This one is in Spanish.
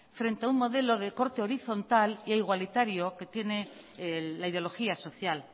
frente a un modelo de corte horizontal e igualitario que tiene la ideología social